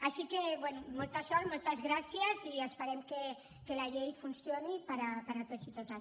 així que bé molta sort moltes gràcies i esperem que la llei funcioni per a tots i totes